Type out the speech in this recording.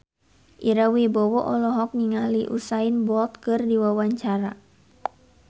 Ira Wibowo olohok ningali Usain Bolt keur diwawancara